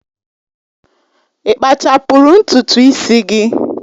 Ị kpachapụrụ ntutu isi gị?